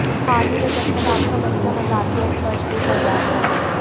हाल ही में जब तक आपका बच्चा मजाकिया और स्पर्श नहीं कर रहा था